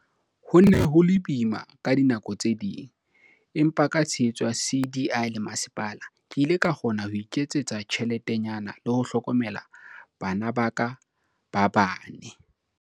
"Ho ne ho le boima ka dinako tse ding, empa ka tshehetso ya CDI le masepala, ke ile ka kgona ho iketsetsa tjheletenyana le ho hlokomela bana ba ka ba bane."